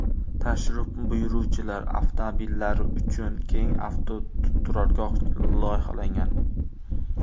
Tashrif buyuruvchilar avtomobillari uchun keng avtoturargoh loyihalangan.